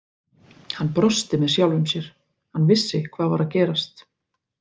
Hann brosti með sjálfum sér, hann vissi hvað var að gerast.